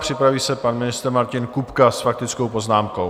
Připraví se pan ministr Martin Kupka s faktickou poznámkou.